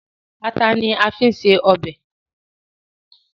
Ata ni a fi ń se ọbẹ̀